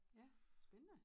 Ja spændende